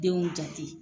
Denw jate